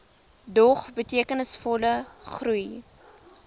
dog betekenisvolle groei